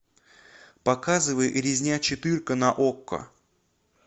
показывай резня четырка на окко